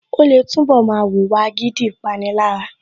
Ó lè túnbọ̀ máa wùwà agídí / Ìpanilára